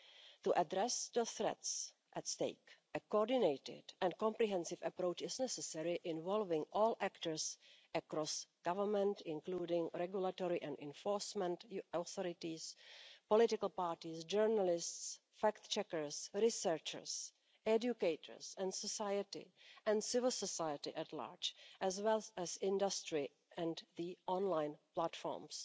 To address the threats at stake, a coordinated and comprehensive approach is necessary, involving all actors across government, including regulatory and enforcement authorities, political parties, journalists, fact checkers, researchers, educators and society and civil society at large, as well as industry and the online platforms.